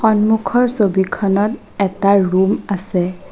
সম্মুখৰ ছবিখনত এটা ৰুম আছে।